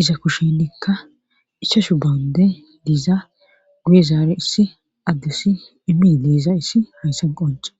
isa kushe dikka isashu bawande diiza guye zaare issi addussi imi diisa issi hayssan qonca.